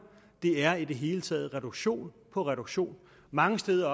det er i det hele taget reduktion på reduktion mange steder